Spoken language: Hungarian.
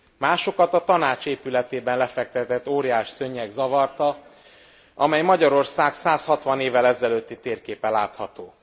Másokat a Tanács épületében lefektetett óriásszőnyeg zavarta, amelyen Magyarország 160 évvel ezelőtti térképe látható.